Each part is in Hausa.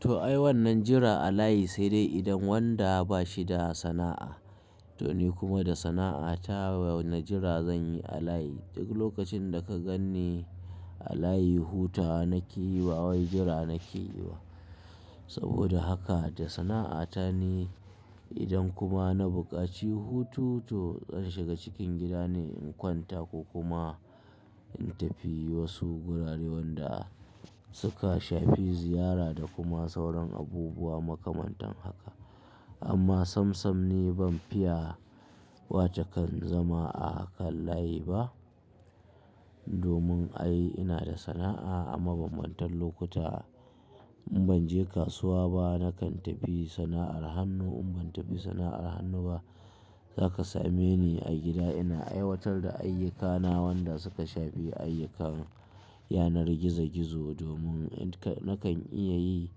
To ai wannan jira a layi sai dai idan wanda bashi da sana'a. To ni kuma da sana'ata wane jira zanyi a layi? Duk lokacin da ka ganni a layi hutawa nake yi ba wai jira nake yiwa. Saboda haka da sana'ata ni idan kuma na buƙaci hutu to zan shiga cikin gida ne in kwanta ko kuma in tafi wasu gurare wanda suka shafi ziyara da kuma sauran abubuwa makamantan haka. Amma sam sam ni ban fiya wato kan zama a kan layi ba. Domin ai ina da sana'a a ma bamantar lokuta in banje kasuwa ba nakan tafi sana'ar hannu. In ban tafi sana'ar hannu ba zaka same ni a gida ina aiwatar da ayyukana wanda suka shafi ayyukan yanar gizo gizo. Domin nakan iya yi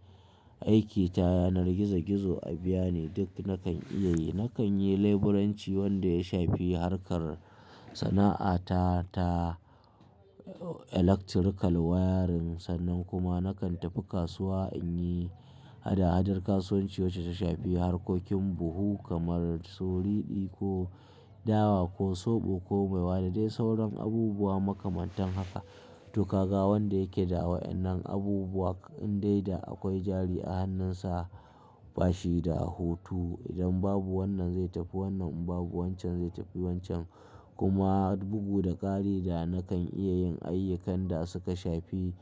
aiki ta yanar gizo gizo a biya ne duk nakan iya yi. Nakan yi leburanci wanda ya shafi harkar sana'ata ta electrical wiring sannan kuma nakan tafi kasuwa inyi hada hadar kasuwanci wacce ta shafi harkokin buhu kamar su riɗi ko dawa ko soɓo ko maiwa ɗa dai sauran abubuwa makamantan haka. To ka ga wanda yake da wa ennan abubuwa in dai da akwai jari a hannunsa bashi da hutu. Idan babu wannan zai tafi wannan in babu wanchan zai tafi wancha kuma bugu da ƙari da nakan iya yin ayyukan da suka shafi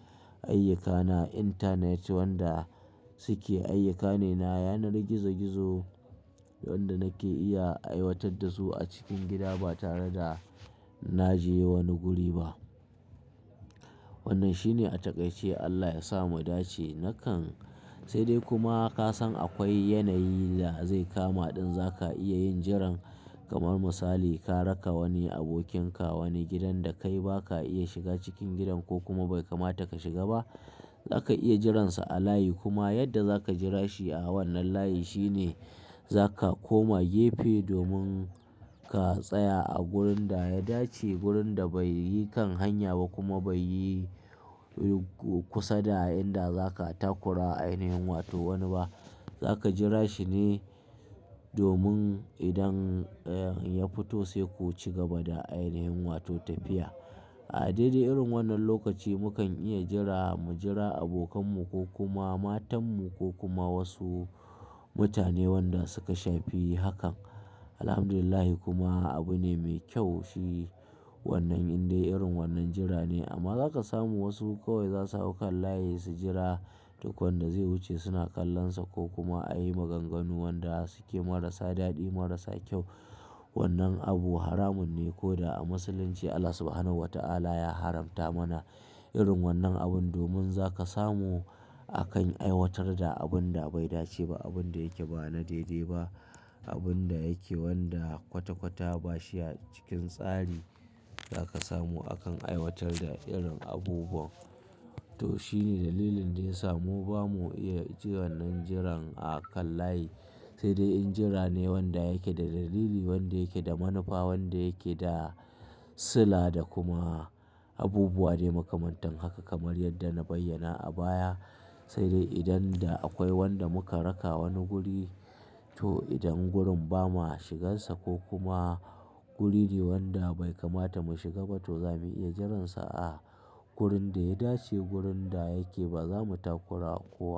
ayyukana, intanet wanda suke ayyuka ne na yanar gizo gizo wanda nake iya aiwatar da su a cikin gida ba tare da naje wani guri ba. Wannan shine a takaice Allah ya sa mu dace nakan-- sai dai kuma kasan akwai yanayi da zai kama ɗin zaka iya yin jiran. Kamar misali ka raka wani abokin ka wani gidan da kai baka iya shiga cikin gidan ko kuma bai kamata ka shiga ba zaka iya jiransa a layi kuma yadda zaka jira shi a wannan layi shine zaka koma gefe domin ka tsaya a gurin da ya dace, gurin da bai yi kan hanya ba kuma bai yi kusa da inda zaka takura wa ainihin wato wani ba. Zaka jira shi ne domin idan ya fito sai ku cigaba da ainihin wato tafiya. A daidai irin wannan lokaci mukan iya jira, mu jira abokanmu ko kuma matanmu ko kuma wasu mutane wanda suka shafi hakan. Alhamdulillah kuma abu ne mai kyau shi wannan in dai irin wannan jira ne. Amma za ka samu wasu kawai za su hau kan layi su jira duk wanda zai wuce suna kallon sa ko kuma a yi maganganu wanda suke marasa daɗi marasa kyau. Wannan abu haramun ne koda a musulunci Allah Subhanahu wa ta'ala ya haramta mana irin wannan abun. Domin za ka samu akan aiwatar da abun da bai dace ba, abun da yake ba na daidai ba, abun da yake wanda kwata kwata ba shi a cikin tsari. Za ka samu akan aiwatar da irin abubuwa. To shine dalilin da ya samu ba mu iya ji wannan jiran a kan layi sai dai in jira ne wanda yake da dalili, wanda yake da manufa, wanda yake da sula da kuma abubuwa ne makamantan haka kamar yadda na bayyana a baya. Sai dai idan da akwai wanda muka raka wani guri, to idan gurin ba ma shigarsa ko kuma guri ne wanda bai kamata mu shiga ba to zamu iya jiransa a wurin da ya dace, wurin da yake ba zamu takura kowa.